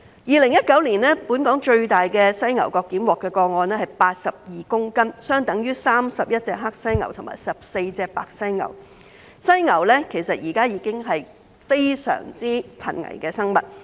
2019年本港最大宗犀牛角檢獲個案是82公斤，相等於31隻黑犀牛和14隻白犀牛。其實，犀牛現在已是非常瀕危的生物。